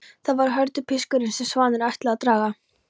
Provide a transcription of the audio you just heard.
Það var hörpudiskurinn sem svanirnir ætluðu að draga.